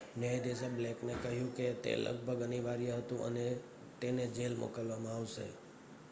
"ન્યાયાધીશે બ્લેકને કહ્યું કે તે "લગભગ અનિવાર્ય" હતું અને તેને જેલ મોકલવામાં આવશે.